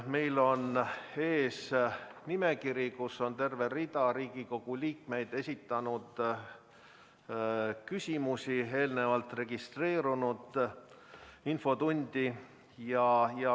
Meil on ees nimekiri, milles on terve rida Riigikogu liikmete esitatud küsimusi, mis on registreeritud enne infotundi.